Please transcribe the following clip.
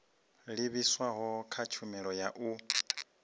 livhiswaho kha tshumelo ya u